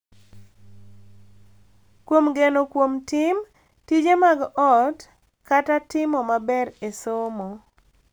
Kuom geno kuom tim, tije mag ot, kata timo maber e somo,